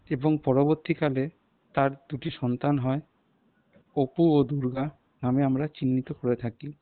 এবং পরবর্তীকালে তার দুটি সন্তান হয় অপু ও দুর্গা নামে আমরা চিহ্নিত করে থাকি।